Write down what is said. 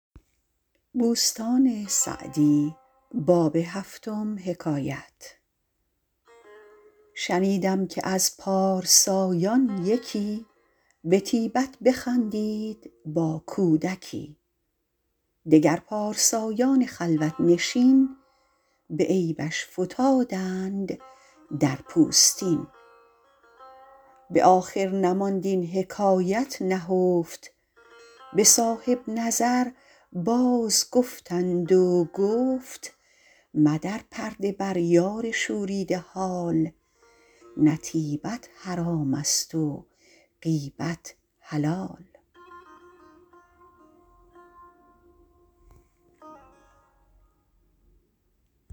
شنیدم که از پارسایان یکی به طیبت بخندید با کودکی دگر پارسایان خلوت نشین به عیبش فتادند در پوستین به آخر نماند این حکایت نهفت به صاحب نظر باز گفتند و گفت مدر پرده بر یار شوریده حال نه طیبت حرام است و غیبت حلال